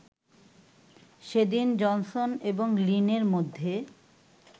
সেদিন জনসন এবং লিনের মধ্যে